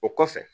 O kɔfɛ